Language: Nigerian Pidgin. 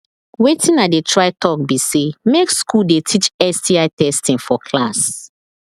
watin i they try talk be say make school they teach sti testing for class